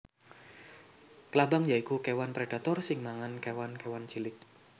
Klabang ya iku kéwan predator sing mangan kéwan kéwan cilik